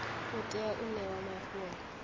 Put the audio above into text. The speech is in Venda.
u tea u ṋewa mafhungo